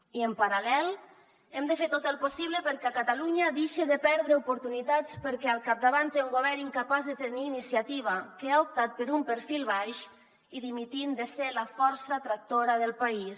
i en paral·lel hem de fer tot el possible perquè catalunya deixe de perdre oportunitats perquè al capdavant té un govern incapaç de tenir iniciativa que ha optat per un perfil baix i dimitint de ser la força tractora del país